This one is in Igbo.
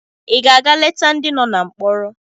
Ị ga-aga leta ndị nọ na mkpọrọ?